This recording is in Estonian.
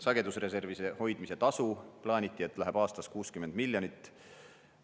Sagedusreservide hoidmise tasuks plaaniti, et läheb aastas 60 miljonit.